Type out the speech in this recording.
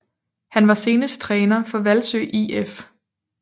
Han var senest træner for Hvalsø IF